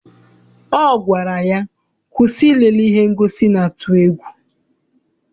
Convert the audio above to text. Ọ gwara ya, kwụsị ilele ihe ngosi na-atụ egwu!